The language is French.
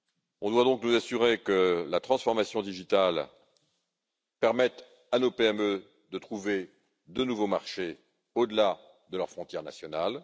Nous devons donc nous assurer que la transformation digitale permette à nos PME de trouver de nouveaux marchés, au delà de leurs frontières nationales.